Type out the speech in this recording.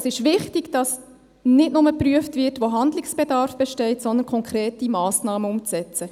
Es ist wichtig, dass nicht nur geprüft wird, wo Handlungsbedarf besteht, sondern auch konkrete Massnahmen umzusetzen.